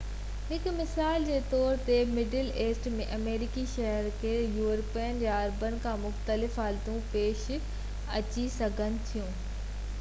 هڪ مثال جي طور تي مڊل ايسٽ ۾ آمريڪي شهرين کي يورپين يا عربن کان مختلف حالتون پيش اچي سگهن ٿيون